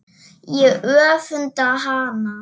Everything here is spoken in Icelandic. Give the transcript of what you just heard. Ég öfunda hana.